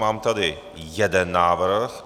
Mám tady jeden návrh.